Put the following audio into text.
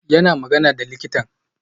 Yana magana da likitan